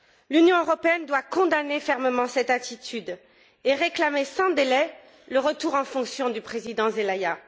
L'Union européenne doit condamner fermement cette attitude et réclamer sans délai le retour dans ses fonctions du président Zelaya.